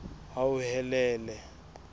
hauhelele